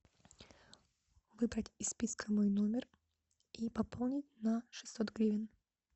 выбрать из списка мой номер и пополнить на шестьсот гривен